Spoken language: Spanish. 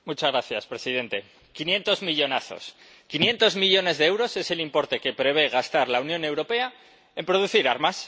Señor presidente, 500 millonazos, 500 millones de euros es el importe que prevé gastar la Unión Europea en producir armas.